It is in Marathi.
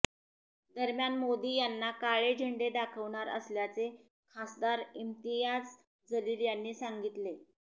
दरम्यान मोदी यांना काळे झेंडे दाखवणार असल्याचे खासदार इम्तियाज जलील यांनी सांगितले